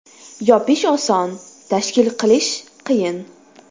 Yopish oson, tashkil qilish qiyin.